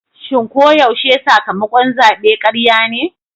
Shin ko yaushe sakamakon zabe karya ne?